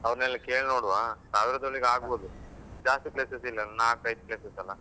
ಅವರ್ನೆಲ್ಲ ಕೇಳಿ ನೋಡುವಾ ಸಾವಿರದೊಳಗೆ ಆಗ್ಬೋದು ಜಾಸ್ತಿ places ಇಲ್ಲ ಅಲ್ಲ ನಾಲ್ಕೈದು places ಅಲ್ಲಾ.